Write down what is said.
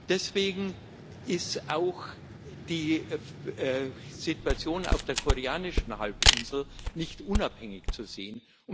Deswegen ist auch die Situation auf der Koreanischen Halbinsel nicht unabhängig zu sehen.